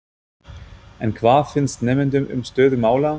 En hvað finnst nemendum um stöðu mála?